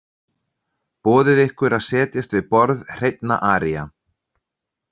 Boðið ykkur að setjast við borð hreinna aría.